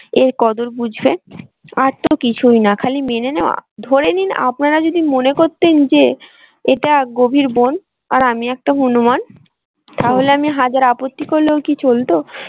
এর কদর বুঝবে আর তো কিছুই না খালি মেনে নেওয়া। ধরে নিন আপনারা যদি মনে করতেন যে এটা গভীর বন আর আমি একটা হুনুমান তাহলে আমি হাজার আপত্তি করলেও কি চলতো?